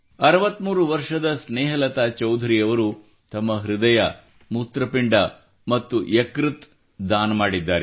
63 ವರ್ಷದ ಸ್ನೇಹಲತಾ ಚೌಧರಿ ಅವರು ತಮ್ಮ ಹೃದಯ ಮೂತ್ರಪಿಂಡ ಮತ್ತು ಯಕೃತ್ತು ದಾನ ಮಾಡಿದ್ದಾರೆ